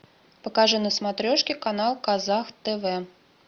покажи на смотрешке канал казах тв